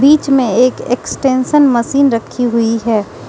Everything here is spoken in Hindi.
बीच में एक एक्सटेंशन मशीन रखी हुईं हैं।